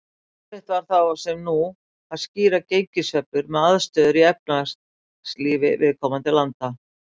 Erfitt var þá, sem nú, að skýra gengissveiflur með aðstæðum í efnahagslífi viðkomandi landa.